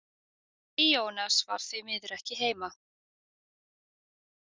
Ionas var því miður ekki heima.